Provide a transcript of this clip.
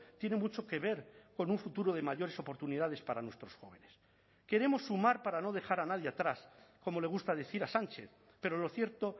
tiene mucho que ver con un futuro de mayores oportunidades para nuestros jóvenes queremos sumar para no dejar a nadie atrás como le gusta decir a sánchez pero lo cierto